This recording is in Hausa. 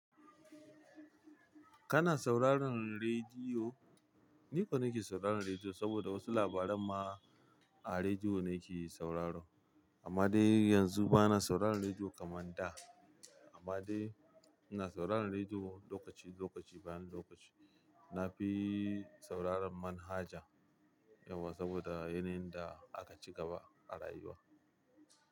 Kana sauraron rediyo? Niko nake sauraron rediyo, saboda wasu labaran ma a rediyo nake saurara. Amma dai yanzu bana sauraron rediyo kaman da, amma dai ina sauraron rediyo lokaci lokaci, bayan lokaci. Na fi sauraron manhaja yauwa, saboda yanayin da aka ci gaba a rayuwa.